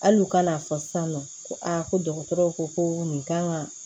Hali u ka n'a fɔ sisan nɔ ko a ko dɔgɔtɔrɔw ko ko nin kan ka